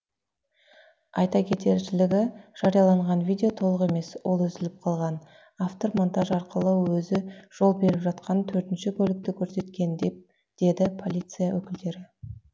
айта кетершілігі жарияланған видео толық емес ол үзіліп қалған автор монтаж арқылы өзі жол беріп жатқан төртінші көлікті көрсеткен деді полиция өкілдері